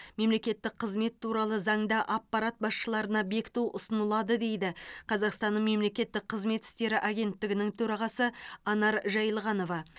мемлекеттік қызмет туралы заңда аппарат басшыларына бекіту ұсынылады дейді қазақстанның мемлекеттік қызмет істері агенттігінің төрағасы анар жайылғанова